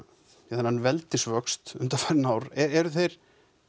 þennan veldisvöxt undanfarin ár eru þeir